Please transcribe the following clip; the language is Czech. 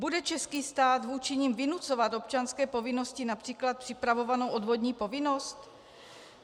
Bude český stát vůči nim vynucovat občanské povinnosti, například připravovanou odvodní povinnost?